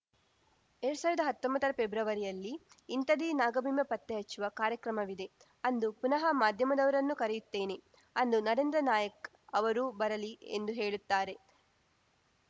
ಎರ್ಡ್ ಸಾವ್ರ್ದಾ ಹತ್ತೊಂಬತ್ತರ ಫೆಬ್ರವರಿಯಲ್ಲಿ ಇಂಥದೇ ನಾಗಬಿಂಬ ಪತ್ತೆ ಹಚ್ಚುವ ಕಾರ್ಯಕ್ರಮವಿದೆ ಅಂದು ಪುನಃ ಮಾಧ್ಯಮದವರನ್ನು ಕರೆಯುತ್ತೇನೆ ಅಂದು ನರೇಂದ್ರ ನಾಯಕ್ ಅವರೂ ಬರಲಿ ಎಂದು ಹೇಳುತ್ತಾರೆ